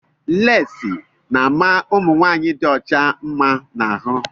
Leesi na ama ụmụnwanyị dị ọcha mma na ahụ.